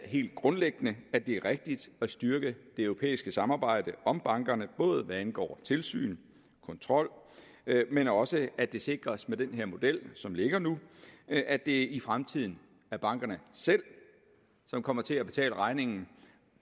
helt grundlæggende at det er rigtigt at styrke det europæiske samarbejde om bankerne hvad angår tilsyn og kontrol men også at det sikres med den model som ligger nu at det i fremtiden er bankerne selv som kommer til at betale regningen